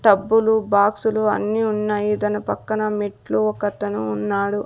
టబ్బులు బాక్సులు అన్నీ ఉన్నాయి దాని పక్కన మెట్లు ఒకతను ఉన్నాడు.